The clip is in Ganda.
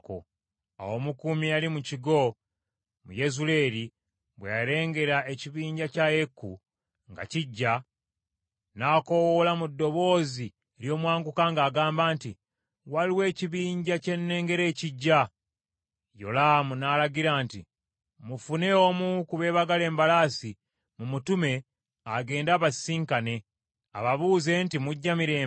Awo omukuumi eyali mu kigo mu Yezuleeri, bwe yalengera ekibinja kya Yeeku nga kijja, n’akoowoola mu ddoboozi ery’omwanguka ng’agamba nti, “Waliwo ekibinja kye nnengera ekijja.” Yolaamu n’alagira nti, “Mufune omu ku beebagala embalaasi, mumutume agende abasisinkane, ababuuze nti, ‘Mujja mirembe?’ ”